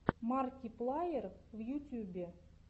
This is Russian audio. марки плайер в ютюбе